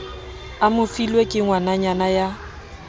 a mofilwe ke ngwananyana ya